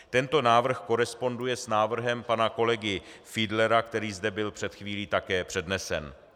Tento návrh koresponduje s návrhem pana kolegy Fiedlera, který zde byl před chvílí také přednesen.